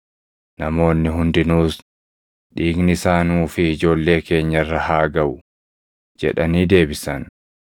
Namoonni hundinuus, “Dhiigni isaa nuu fi ijoollee keenya irra haa gaʼu!” jedhanii deebisan.